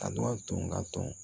A dɔ tun ka dɔn